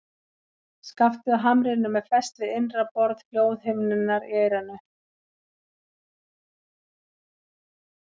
Skaftið á hamrinum er fest við innra borð hljóðhimnunnar í eyranu.